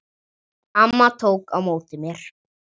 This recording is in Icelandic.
Amma tók á móti mér.